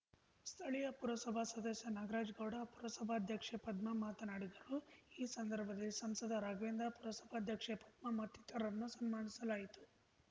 ಸ್ಥಳೀಯ ಪುರಸಭಾ ಸದಸ್ಯ ನಾಗ್ರಾಜಗೌಡ ಪುರಸಭಾಧ್ಯಕ್ಷೆ ಪದ್ಮಾ ಮಾತನಾಡಿದರು ಈ ಸಂದರ್ಭದಲ್ಲಿ ಸಂಸದ ರಾಘವೇಂದ್ರ ಪುರಸಭಾಧ್ಯಕ್ಷೆ ಪದ್ಮಾ ಮತ್ತಿತರನ್ನು ಸನ್ಮಾನಿಸಲಾಯಿತು